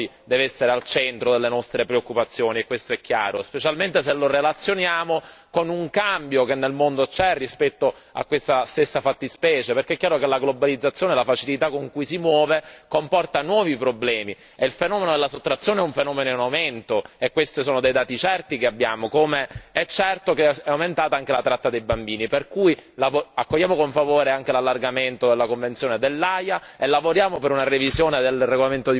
Il benessere psicofisico dei minori deve essere al centro delle nostre preoccupazioni, e questo è chiaro, specialmente se lo relazioniamo con un cambio che nel mondo c'è rispetto a questa stessa fattispecie. Perché è chiaro che la globalizzazione e la facilità con cui ci si muove comporta nuovi problemi e il fenomeno della sottrazione è un fenomeno in aumento. Questi sono dei dati certi che abbiamo, come è certo che è aumentata anche la tratta dei bambini, per cui accogliamo con favore anche l'allargamento della Convenzione dell'Aia e lavoriamo per una revisione del regolamento di Bruxelles II in maniera urgente.